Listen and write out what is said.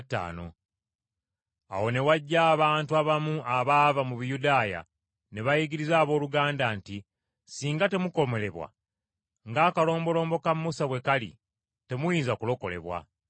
Awo ne wajja abantu abamu abaava mu Buyudaaya ne bayigiriza abooluganda nti, “Ssinga temukomolebwa ng’akalombolombo ka Musa bwe kali temuyinza kulokolebwa.”